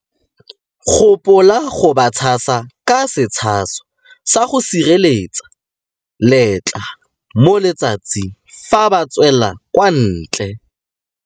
Gopola go ba tshasa ka setshaso sa go sireletsa letlalo mo letsatsing fa ba tswela kwa ntle.